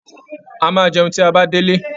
A máa jẹun tí a bá dé'lé